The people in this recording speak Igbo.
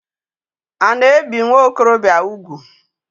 A na ebi nwokorobia úgwù?